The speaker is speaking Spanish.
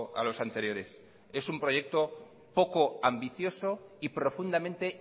a los anteriores es un proyecto poco ambicioso y profundamente